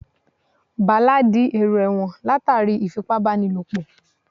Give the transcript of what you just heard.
Bàlá di èrò ẹ̀wọ̀n látàrí ìfipábánilòpọ̀